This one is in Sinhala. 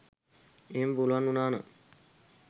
එහෙම පුලුවන් උනා නම්